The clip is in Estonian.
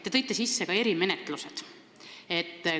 Te tõite sisse ka erimenetlused.